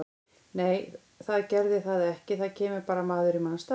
Nei það gerði það ekki, það kemur bara maður í manns stað.